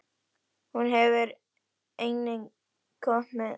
Hún hefur einnig komið með hálsbindi.